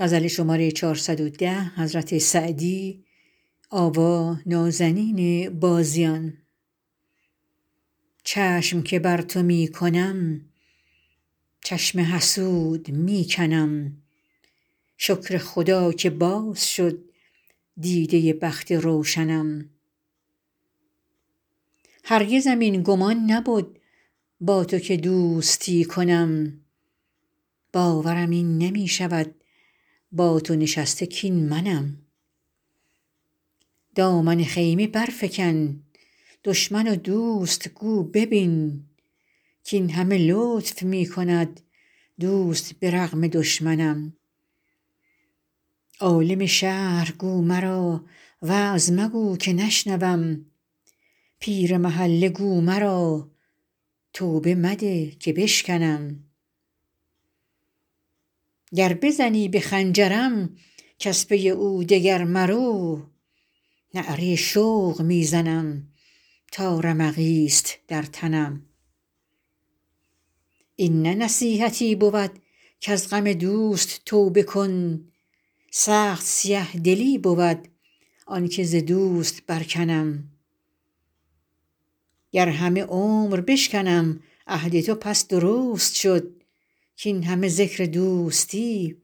چشم که بر تو می کنم چشم حسود می کنم شکر خدا که باز شد دیده بخت روشنم هرگزم این گمان نبد با تو که دوستی کنم باورم این نمی شود با تو نشسته کاین منم دامن خیمه برفکن دشمن و دوست گو ببین کاین همه لطف می کند دوست به رغم دشمنم عالم شهر گو مرا وعظ مگو که نشنوم پیر محله گو مرا توبه مده که بشکنم گر بزنی به خنجرم کز پی او دگر مرو نعره شوق می زنم تا رمقی ست در تنم این نه نصیحتی بود کز غم دوست توبه کن سخت سیه دلی بود آن که ز دوست برکنم گر همه عمر بشکنم عهد تو پس درست شد کاین همه ذکر دوستی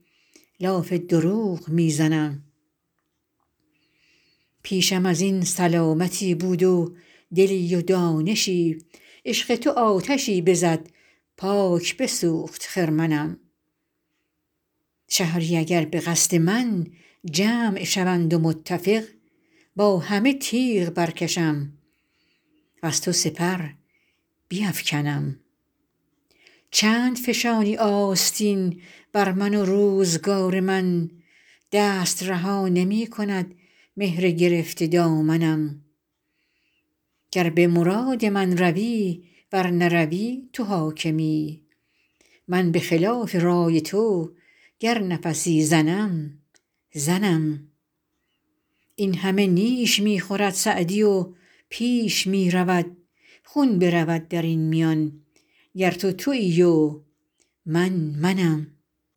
لاف دروغ می زنم پیشم از این سلامتی بود و دلی و دانشی عشق تو آتشی بزد پاک بسوخت خرمنم شهری اگر به قصد من جمع شوند و متفق با همه تیغ برکشم وز تو سپر بیفکنم چند فشانی آستین بر من و روزگار من دست رها نمی کند مهر گرفته دامنم گر به مراد من روی ور نروی تو حاکمی من به خلاف رای تو گر نفسی زنم زنم این همه نیش می خورد سعدی و پیش می رود خون برود در این میان گر تو تویی و من منم